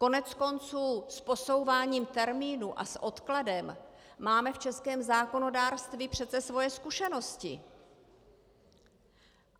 Koneckonců s posouváním termínu a s odkladem máme v českém zákonodárství přece svoje zkušenosti!